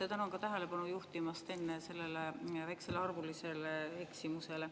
Tänan ka enne tähelepanu juhtimast sellele väikesele arvulisele eksimusele.